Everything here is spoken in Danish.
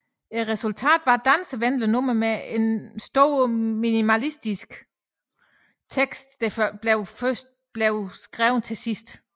Resultatet var et dansevenligt nummer med en meget minimalistisk tekst der først blev skrevet til sidst